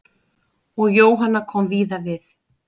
Og Jóhanna kom víða við.